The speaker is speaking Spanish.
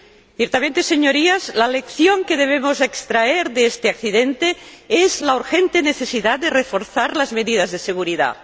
Ciertamente, Señorías, la lección que debemos extraer de este accidente es la urgente necesidad de reforzar las medidas de seguridad.